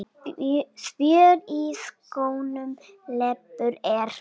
Spjör í skónum leppur er.